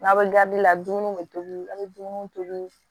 N'aw bɛ gadi la dumuniw bɛ tobi an bɛ dumuni tobi